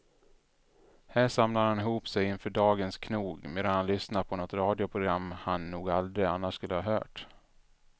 Här samlar han ihop sig inför dagens knog medan han lyssnar på något radioprogram han nog aldrig annars skulle ha hört.